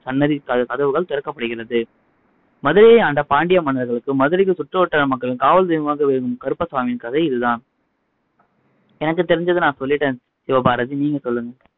சன்னதி கதவுகள் திறக்கப்படுகிறது மதுரையை ஆண்ட பாண்டிய மன்னர்களுக்கும் மதுரை சுற்றுவட்டார மக்களுக்கும் காவல் தெய்வமாக விளங்கும் கருப்பசாமியின் கதை இது தான் எனக்கு தெரிஞ்சதை நான் சொல்லிட்டேன் சிவபாரதி நீங்க சொல்லுங்க